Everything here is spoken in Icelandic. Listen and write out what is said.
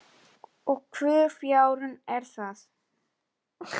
Og hvur fjárinn er það?